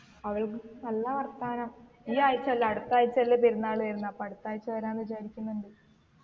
അവൾക്ക് നല്ല വർത്താനം ഈ ആഴ്ചയല്ല അടുത്താഴ്ചല്ലേ പെരുന്നാള് വരുന്നെ അപ്പൊ അടുത്താഴ്ച വരാ വിചാരിക്കുന്നുണ്ട്